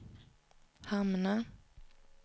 hamna